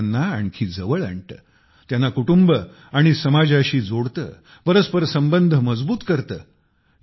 जे लोकांना आणखी जवळ आणते त्यांना कुटुंब आणि समाजाशी जोडते परस्पर संबंध मजबूत करते